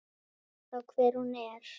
né þá hver hún er.